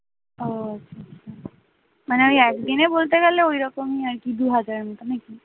ও আচ্ছা মানে ওই একদিনে বলতে গেলে ঐরকমই আরকি দুহাজারের মতো নাকি?